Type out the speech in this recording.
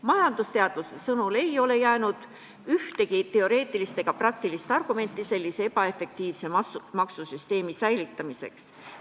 Majandusteadlase sõnul ei ole jäänud ühtegi teoreetilist ega praktilist argumenti sellise ebaefektiivse maksusüsteemi säilitamiseks.